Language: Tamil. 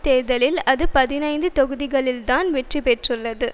தேர்தலில் அது பதினைந்து தொகுதிகளில்தான் வெற்றிபெற்றுள்ளது